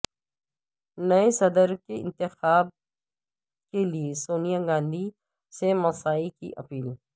نئے صدر کے انتخاب کیلئے سونیا گاندھی سے مساعی کی اپیل